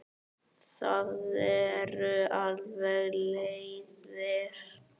Það eru alveg leiðir.